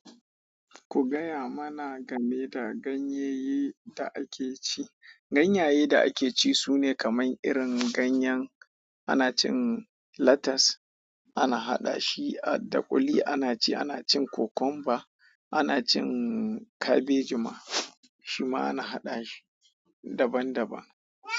Ku gaya mana game da ganyaye da ake ci. Ganyaye da ake ci sune kamar irin ganyen ana cin latas ana haɗa shi da kuli ana ci, ana cin cocomba, ana cin cabage ma, shi ma ana haɗa shi daban daban.